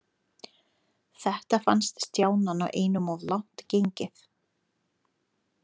Þetta fannst Stjána nú einum of langt gengið.